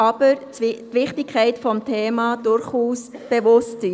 Die Wichtigkeit des Themas sei dem Regierungsrat aber durchaus bewusst.